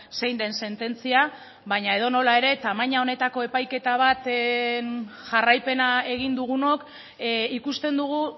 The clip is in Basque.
zein den sententzia baina edonola ere tamaina honetako epaiketa bat jarraipena egin dugunok ikusten dugu